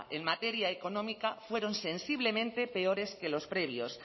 en materia económica fueron sensiblemente peores que los previos